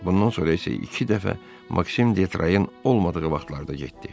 Bundan sonra isə iki dəfə Maksim Detrayın olmadığı vaxtlarda getdi.